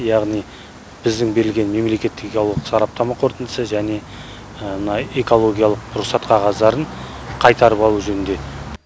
яғни біздің берілген мемлекеттік экологиялық сараптама қорытындысы және мына экологиялық рұқсат қағаздарын қайтарып алу жөнінде